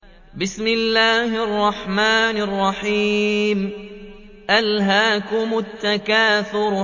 أَلْهَاكُمُ التَّكَاثُرُ